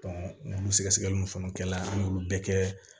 olu sɛgɛsɛgɛliw fɛnɛ kɛla an y'olu bɛɛ kɛ